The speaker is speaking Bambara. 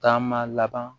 Taama laban